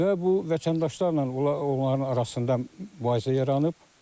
Və bu vətəndaşlarla onların arasında mübahisə yaranıb.